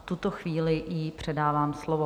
V tuto chvíli jí předávám slovo.